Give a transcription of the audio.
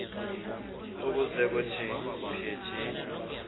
ukuze kuthi phithi